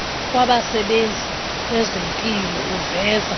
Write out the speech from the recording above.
wabasebenzi kwezempilo uveza